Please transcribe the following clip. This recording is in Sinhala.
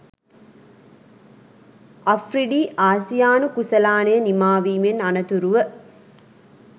අෆ්රිඩි ආසියානු කුසලානය නිමාවීමෙන් අනතුරුව